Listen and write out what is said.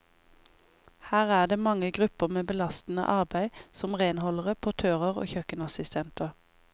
Her er det mange grupper med belastende arbeid, som renholdere, portører og kjøkkenassistenter.